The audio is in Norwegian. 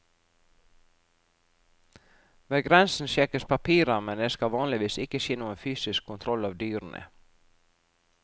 Ved grensen sjekkes papirer, men det skal vanligvis ikke skje noen fysisk kontroll av dyrene.